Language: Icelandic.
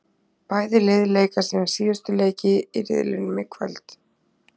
Bæði lið leika sína síðustu leiki í riðlinum í kvöld.